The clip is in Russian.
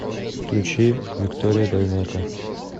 включи виктория дайнеко